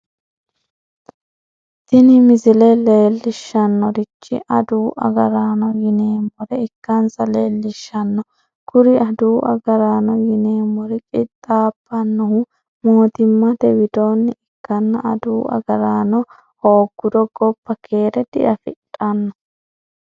tini misile leellishshannorichi adawu agaraano yineemmore ikkansa leellishshanno kuri adawu agaraano yineemmori qixxaabbannohu mootimmate widoonni ikkanna adawu agaraano hoogguro gobba keere diafidhanno.